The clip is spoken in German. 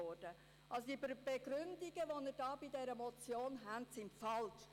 Die Begründungen zur Motion sind falsch.